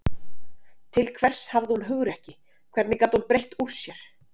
Til hvers hafði hún hugrekki, hvernig gat hún breitt úr sér.